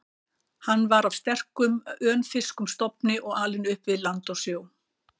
Hann var af sterkum, önfirskum stofni og alinn upp við land og sjó.